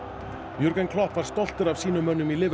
Klopp var stoltur af sínum mönnum í